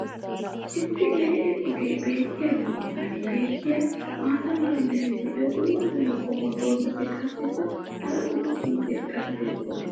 issi lee'e ogee beetiyaagaa matan beetiya maata mala meray diyo dumma dumma qommo dozzati qassikka hara dumma dumma irxxabati doosona.